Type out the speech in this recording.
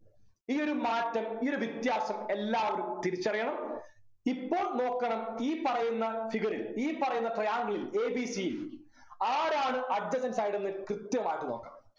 ഈ ഒരു മാറ്റം ഈ ഒരു വ്യത്യാസം എല്ലാവരും തിരിച്ചറിയണം ഇപ്പോൾ നോക്കണം ഈ പറയുന്ന figure ഈ പറയുന്ന triangle ൽ A B C ൽ ആരാണ് adjacent side എന്ന് കൃത്യമായിട്ട് നോക്കാം